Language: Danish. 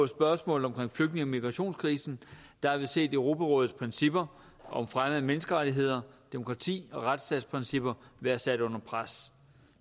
spørgsmålet om flygtninge og migrationskrisen har vi set europarådets principper om fremme af menneskerettigheder demokrati og retsstatsprincipper være sat under pres